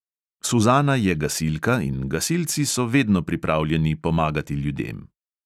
Suzana je gasilka in gasilci so vedno pripravljeni pomagati ljudem.